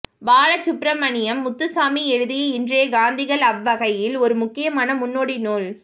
பாலசுப்ரமணியம் முத்துசாமி எழுதிய இன்றைய காந்திகள் அவ்வகையில் ஒரு முக்கியமான முன்னோடி நூல்